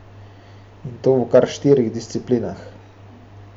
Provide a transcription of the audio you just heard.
In to v kar štirih disciplinah.